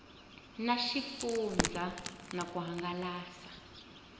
na xifundzha na ku hangalasa